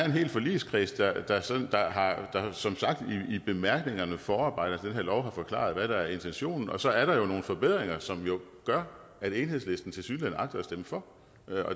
hel forligskreds der som sagt i bemærkningerne og forarbejderne her lov har forklaret hvad der er intentionen og så er der jo nogle forbedringer som gør at enhedslisten tilsyneladende agter at stemme for